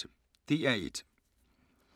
DR1